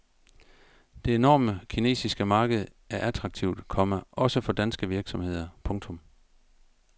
Det enorme kinesiske marked er attraktivt, komma også for danske virksomheder. punktum